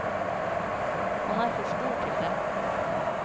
Han er for stor til det.